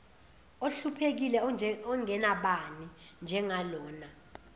ohluphekile ongenabani njengalona